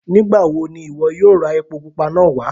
Nígbawó ni iwọ yóò rà èpò púpà náà wà?